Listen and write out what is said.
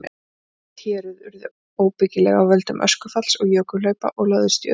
Víðlend héruð urðu óbyggileg af völdum öskufalls og jökulhlaupa og lögðust í auðn.